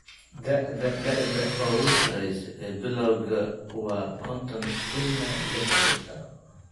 Da'da: Da'da ugu sarreysa ee bilawga waa konton ila lihdan sano.